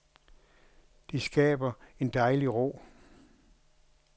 Det skaber en dejlig ro.